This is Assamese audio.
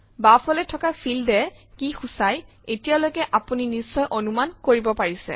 বাওঁফালে থকা ফিল্ড এ কি সূচায় এতিয়ালৈকে আপুনি নিশ্চয় অনুমান কৰিব পাৰিছে